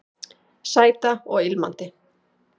Sæta og ilmandi